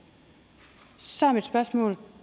så er mit spørgsmål